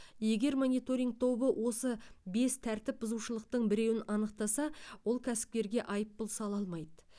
егер мониторинг тобы осы бес тәртіпбұзушылықтың біреуін анықтаса ол кәсіпкерге айыппұл сала алмайды